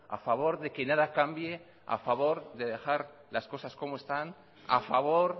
a favor de que nada cambie a favor de dejar las cosas como están a favor